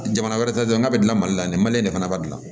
Jamana wɛrɛ ta n'a bɛ dilan mali la nin mali de fana b'a dilan